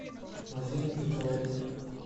мадина петровна